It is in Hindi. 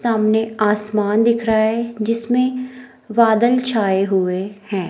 सामने आसमान दिख रहा है जिसमें बादल छाए हुए हैं।